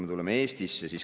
Tuleme Eestisse.